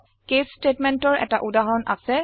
case statementৰ এটা উদাহৰণ আছে